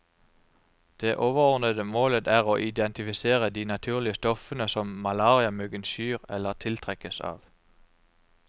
Det overordnede målet er å identifisere de naturlige stoffene som malariamyggen skyr eller tiltrekkes av.